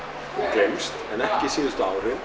gleymst en ekki síðustu árin